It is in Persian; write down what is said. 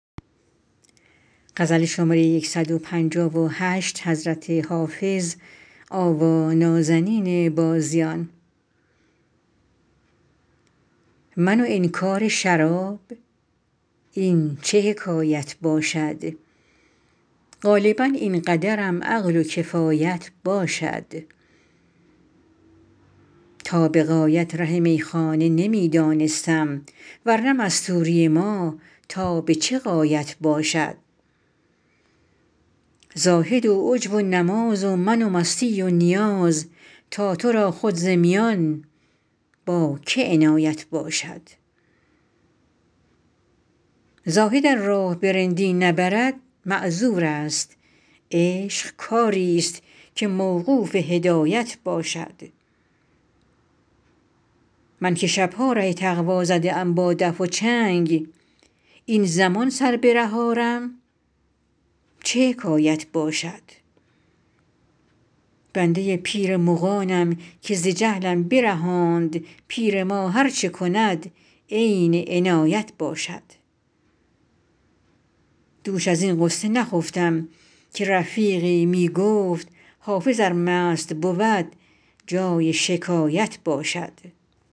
من و انکار شراب این چه حکایت باشد غالبا این قدرم عقل و کفایت باشد تا به غایت ره میخانه نمی دانستم ور نه مستوری ما تا به چه غایت باشد زاهد و عجب و نماز و من و مستی و نیاز تا تو را خود ز میان با که عنایت باشد زاهد ار راه به رندی نبرد معذور است عشق کاری ست که موقوف هدایت باشد من که شب ها ره تقوا زده ام با دف و چنگ این زمان سر به ره آرم چه حکایت باشد بنده پیر مغانم که ز جهلم برهاند پیر ما هر چه کند عین عنایت باشد دوش از این غصه نخفتم که رفیقی می گفت حافظ ار مست بود جای شکایت باشد